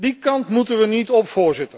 Die kant moeten we niet op.